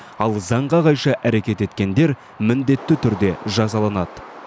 ал заңға қайшы әрекет еткендер міндетті түрде жазаланады